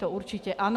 To určitě ano.